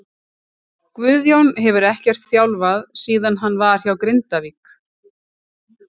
Guðjón hefur ekkert þjálfað síðan hann var hjá Grindavík.